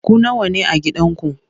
Ku nawa ne a gidanku?